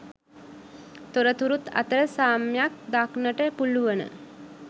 තොරතුරුත් අතර සාම්‍යක් දක්නට පුළුවන.